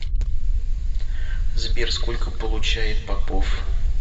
сбер сколько получает попов